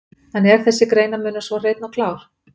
En er þessi greinarmunur svo hreinn og klár?